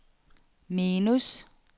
minus